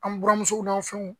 An buramusow n'an fɛnw.